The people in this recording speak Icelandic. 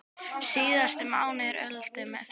Síðasti mánuður Öldu með því nafni.